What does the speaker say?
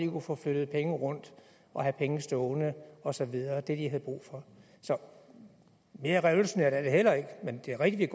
kunne få flyttet penge rundt og have penge stående og så videre få det de havde brug for så mere revolutionært er det heller ikke men det er rigtigt